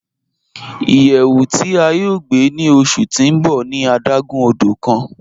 Iyẹwù ti a yọ̀ gbe ni ọṣu ti n bọ̀ ni adágún ọdọ̀ kan.